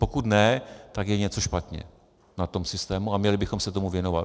Pokud ne, tak je něco špatně na tom systému a měli bychom se tomu věnovat.